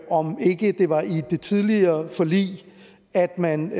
om ikke det var i det tidligere forlig at man